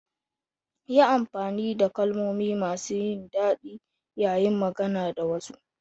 Yi amfani da kalmomi masu daɗi yayin magana da wasu.